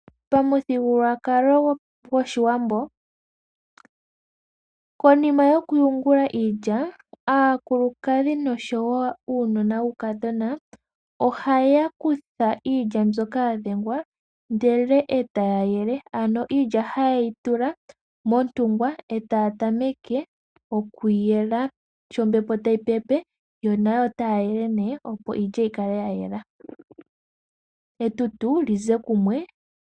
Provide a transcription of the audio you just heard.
Pamuthigululwakalo gOshiwambo, konima yokuyungula iilya, aakulukadhi noshowo uunona wuukadhona ohaya kutha iilya mbyoka ya dhengwa ndele e taya yele. Ano iilya haye yi tula montungwa e taya tameke okuyela. Sho ombepo tayi pepe yo nayo otaya yele nee opo iilya yi kale ya yela, etutu li ze kumwe.